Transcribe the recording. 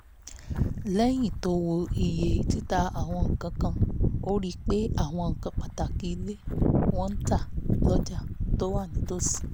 lẹ́yìn tó wo iye títa àwọn nǹkan kan ó rí pé àwọn nǹkan pàtàkì ilé ni wọ́n ń tà lọ́jà tó wà nítòsí